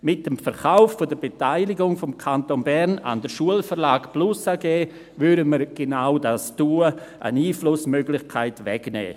Mit dem Verkauf der Beteiligung des Kantons Bern an die Schulverlag plus AG würden wir genau dies tun: eine Einflussmöglichkeit wegnehmen.